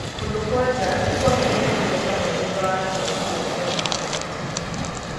Kũndũ kwa njaa nĩkwagĩire igweta mũno thutha wa kĩngũũki gĩa Covid 19.